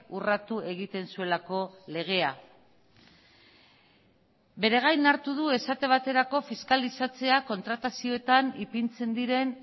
urratu egiten zuelako legea bere gain hartu du esate baterako fiskalizatzea kontratazioetan ipintzen diren